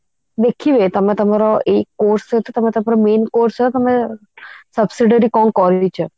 ଦେଖିବେ ତମେ ତମର ଏଇ course ସହିତ ତମେ ତମର main course ସହ subsidiary ତମେ କଣ କରିଛ